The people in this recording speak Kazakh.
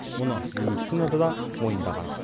мұны медицинада да мойындаған